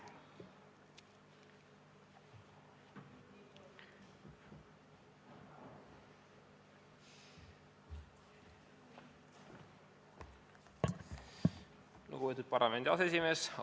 Lugupeetud parlamendi aseesimees!